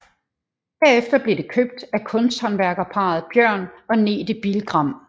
Herefter blev det købt af kunsthåndværkerparret Bjørn og Nete Bilgram